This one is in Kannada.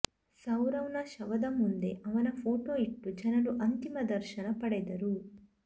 ಸೌರವ್ನ ಶವದ ಮುಂದೆ ಅವನ ಫೋಟೊ ಇಟ್ಟು ಜನರು ಅಂತಿಮ ದರ್ಶನ ಪಡೆದರು